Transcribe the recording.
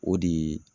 O de ye